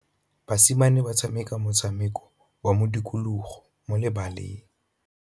Basimane ba tshameka motshameko wa modikologô mo lebaleng.